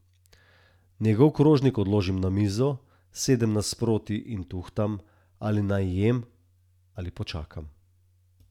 Njegov krožnik odložim na mizo, sedem nasproti in tuhtam, ali naj jem ali počakam.